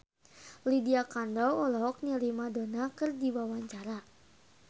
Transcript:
Lydia Kandou olohok ningali Madonna keur diwawancara